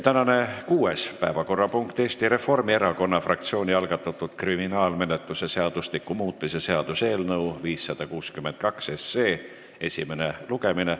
Tänane kuues päevakorrapunkt on Eesti Reformierakonna fraktsiooni algatatud kriminaalmenetluse seadustiku muutmise seaduse eelnõu 562 esimene lugemine.